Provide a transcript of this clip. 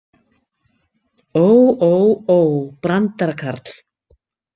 Ó, ó, ó, brandarakarl.